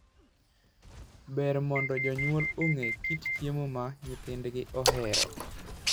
Ber mondo jonyuol ong'e kit chiemo ma nyithindgi ohero.